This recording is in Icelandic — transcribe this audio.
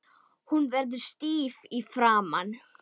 Hún verður stíf í framan.